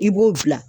I b'o bila